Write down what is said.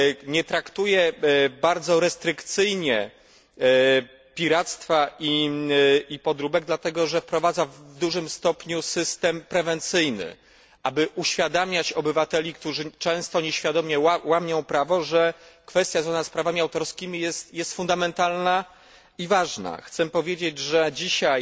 Nie traktuje ono bardzo restrykcyjnie piractwa i podróbek, dlatego że wprowadza w dużym stopniu system prewencyjny, aby uświadamiać obywatelom, którzy często nieświadomie łamią prawo, że kwestia związana z prawami autorskimi jest fundamentalna i ważna. Chcę powiedzieć, że dzisiaj